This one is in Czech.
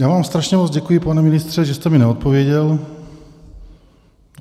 Já vám strašně moc děkuji, pane ministře, že jste mi neodpověděl.